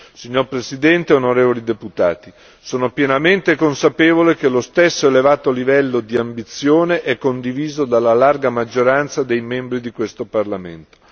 Signor Presidente, onorevoli deputati, sono pienamente consapevole che lo stesso elevato livello di ambizione è condiviso dalla larga maggioranza dei membri di questo Parlamento.